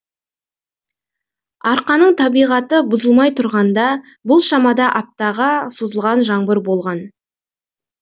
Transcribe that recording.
арқаның табиғаты бұзылмай тұрғанда бұл шамада аптаға созылған жаңбыр болған